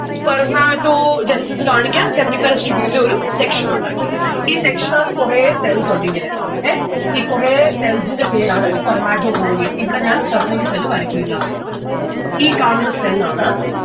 Spermatogenesis കാണിക്കാം seminiferous tubule ൽ ഒരു section ഉണ്ടാക്കി. ഈ section ആത്തു കൊറേ cells ഉണ്ട് ഇങ്ങനെ എ? ഈ കൊറേ cells ന്റെ പേരാണ് spermatogonium ഇവിടെ ഞാൻ വരക്കുല്ലാ. ഈ കാണുന്ന cell ആണ്